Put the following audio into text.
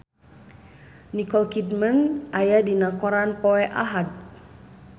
Nicole Kidman aya dina koran poe Ahad